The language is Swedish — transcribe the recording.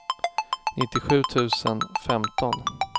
nittiosju tusen femton